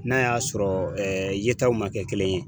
N'a y'a sɔrɔ yetaw man kɛ kelen ye.